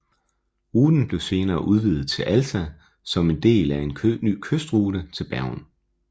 Ruten blev senere udvidet til Alta som en del af en ny kystrute til Bergen